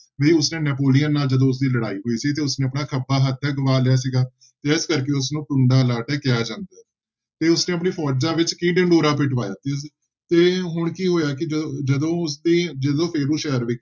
ਵੀ ਉਸਨੇ ਨੈਪੋਲੀਅਨ ਨਾਲ ਜਦੋਂ ਉਸਦੀ ਲੜਾਈ ਹੋਈ ਸੀ ਤੇ ਉਸਨੇ ਆਪਣਾ ਖੱਬਾ ਹੱਥ ਗਵਾ ਲਿਆ ਸੀਗਾ ਤੇ ਇਸ ਕਰਕੇ ਉਸਨੂੰ ਟੁੰਡਾ ਲਾਟ ਕਿਹਾ ਜਾਂਦਾ ਹੈ ਤੇ ਉਸਨੇ ਆਪਣੀ ਫੋਜ਼ਾਂ ਵਿੱਚ ਕੀ ਢਿਡੋਰਾ ਪਿਟਵਾਇਆ ਸੀ, ਤੇ ਹੁਣ ਕੀ ਹੋਇਆ ਕਿ ਜ~ ਜਦੋਂ ਉੁਸਦੇ ਜਦੋਂ ਫੇਰੂ ਸ਼ਹਿਰ ਵਿ~